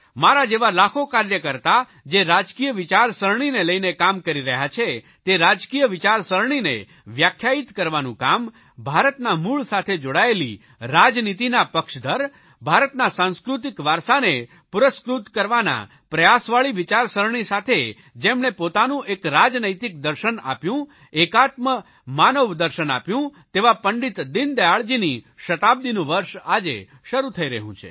મારા જેવા લાખો કાર્યકર્તા જે રાજકીય વિચારસરણીને લઇને કામ કરી રહ્યા છે તે રાજકીય વિચારસરણીને વ્યાખ્યાયિત કરવાનું કામ ભારતના મૂળ સાથે જોડાયેલી રાજનીતિના પક્ષદર ભારતના સાંસ્કૃતિક વારસાને પુરસ્કૃત કરવાના પ્રયાસવાળી વિચારણસરણી સાથે જેમણે પોતાનું એક રાજનૈતિક દર્શન આપ્યું એકાત્મ માનવ દર્શન આપ્યું તેવા પંડિત દિનદયાળજીની શતાબ્દિનું વર્ષ આજે શરૂ થઇ રહ્યું છે